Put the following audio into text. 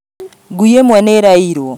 Ngui ĩmwe nĩ ĩra iyirwo